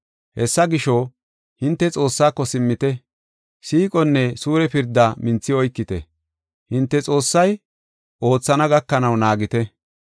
Hessa gisho, hinte Xoossaako simmite; siiqonne suure pirdaa minthi oykite; hinte Xoossay oothana gakanaw naagite.